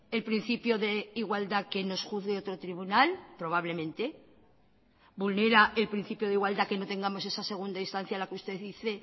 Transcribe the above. el principio de igualdad que nos juzgue otro tribunal probablemente vulnera el principio de igualdad que no tengamos esa segunda instancia a la que usted dice